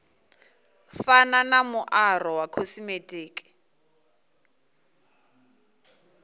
fana na muaro wa khosimetiki